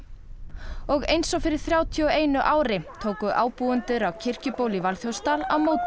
og eins og fyrir þrjátíu og einu ári tóku ábúendur á kirkjubóli í Valþjófsdal á móti